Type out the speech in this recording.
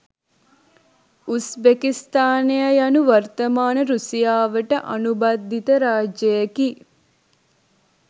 උස්‌බෙකිස්‌තානය යනු වර්තමාන රුසියාවට අනුබද්ධිත රාජ්‍යයකි